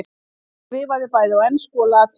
Hann skrifaði bæði á ensku og latínu.